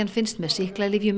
finnist með sýklalyfjum